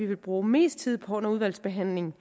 vil bruge mest tid på under udvalgsbehandlingen